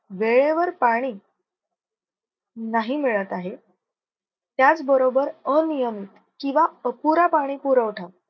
वेळेवर पाणी नाही मिळत आहे त्याच बरोबर अनियमित किंव्हा अपुरा पाणी पुरवठा.